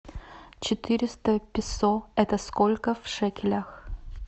четыреста песо это сколько в шекелях